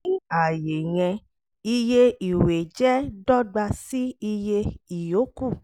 ní ààyè yẹn iye ìwé jẹ́ dọ́gba sí iye iyokù